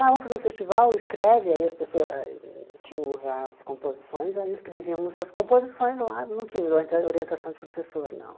Ah, vamos fazer o festival, escreve, aí as pessoas ah... Tínhamos as composições, aí escrevíamos as composições lá, não tinha orienta orientação de professor, não.